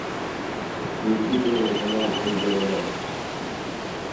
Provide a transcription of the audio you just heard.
включи первый канал пусть говорят